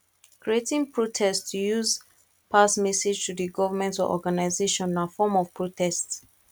creating contest to use pass message to the government or organisation na form of protest